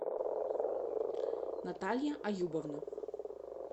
наталья аюбовна